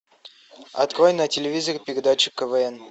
открой на телевизоре передачу квн